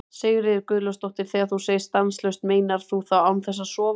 Sigríður Guðlaugsdóttir: Þegar þú segir stanslaust, meinar þú þá án þess að sofa eða?